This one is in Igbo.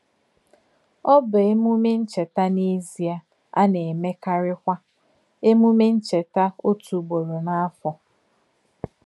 Ọ̀ bụ̀ èmèmè nchètà n’èzìè, á nà-èmèkàríkwà èmèmè nchètà òtú ùgbòrò n’áfọ̀.